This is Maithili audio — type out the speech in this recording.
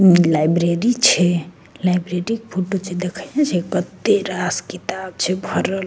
लाइब्रेरी छै लाइब्रेरी के फोटो छै देखै ने छै कते रास किताब छै भरल ।